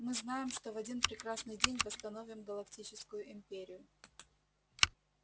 мы знаем что в один прекрасный день восстановим галактическую империю